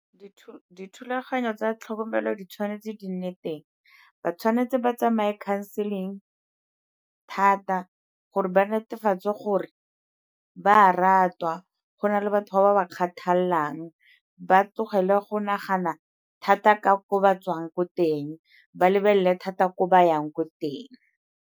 Dithulaganyo tsa tlhokomelo di tshwanetse di nne teng, ba tshwanetse ba tsamaye counseling thata gore ba netefatse gore ba a ratwa, go na le batho ba ba ba kgathalelang ba tlogele go nagana thata ka ko ba tswang ko teng, ba lebelele thata ko ba yang ko teng.